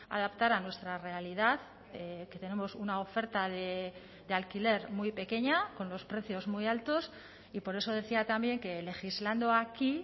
adaptar a nuestra realidad que tenemos una oferta de alquiler muy pequeña con los precios muy altos y por eso decía también que legislando aquí